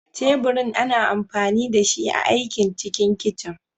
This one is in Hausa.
Teburin ana amfani dashi a aiki cikin kicin.